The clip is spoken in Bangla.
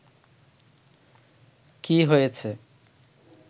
কি হয়েছে